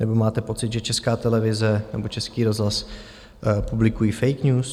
Nebo máte pocit, že Česká televize nebo Český rozhlas publikují fake news?